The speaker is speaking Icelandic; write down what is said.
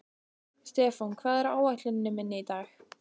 Stefán, hvað er á áætluninni minni í dag?